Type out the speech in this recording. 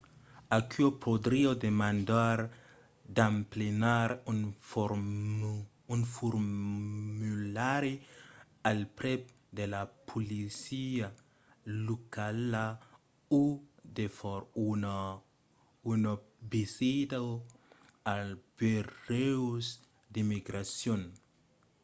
aquò podriá demandar d‘emplenar un formulari al prèp de la polícia locala o de far una visita als burèus d’immigracion